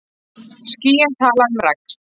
Skýin tala um regn.